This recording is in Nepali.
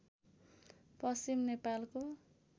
पश्चिम नेपालको